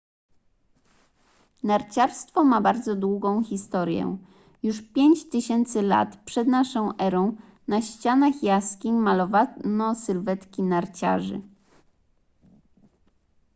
narciarstwo ma bardzo długą historię już 5000 lat p.n.e. na ścianach jaskiń malowano sylwetki narciarzy